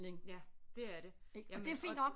Ja det er det jamen og